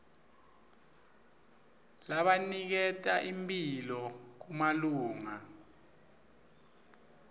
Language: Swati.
labaniketa imphilo kumalunga